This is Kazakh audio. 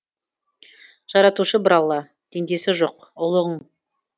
жаратушы бір алла теңдесі жоқ ұлығың